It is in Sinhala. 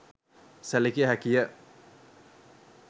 සැළකිය හැකි ය.